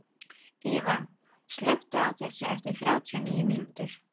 Íva, slökktu á þessu eftir þrjátíu og níu mínútur.